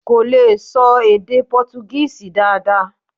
Kò lè ṣọ èdè Pọ́túgíìsì dáadáa.